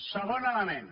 segon element